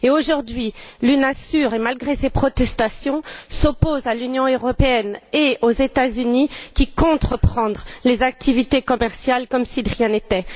Aujourd'hui, l'UNASUR, malgré les protestations, s'oppose à l'Union européenne et aux États Unis qui comptent reprendre les activités commerciales comme si de rien n'était.